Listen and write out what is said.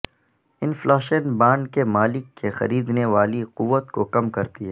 inflation bond کے مالک کی خریدنے والی قوت کو کم کرتی ہے